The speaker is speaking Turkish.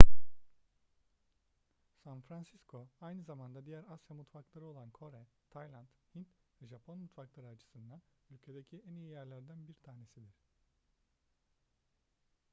san francisco aynı zamanda diğer asya mutfakları olan kore tayland hint ve japon mutfakları açısından ülkedeki en iyi yerlerden bir tanesidir